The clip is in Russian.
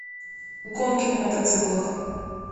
гонки на мотоциклах